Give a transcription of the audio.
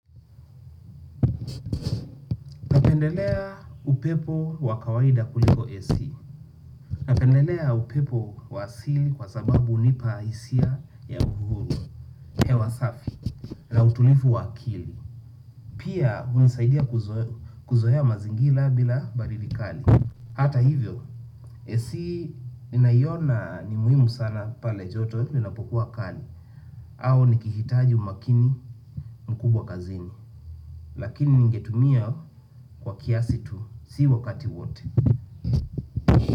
Pendelea upepo wa kawaida kuliko AC, napendelea upepo wa asili kwa sababu unipa hisia ya uhuru ya wasafi na utulivu wa akili. Pia unisaidia kuzoea mazingira bila baridi kali. Hata hivyo AC ninaiona ni muhimu sana pale joto inapokuwa kali. Au nikihitaji umakini mkubwa kazini lakini ningetumia kwa kiasi tu si wakati wote.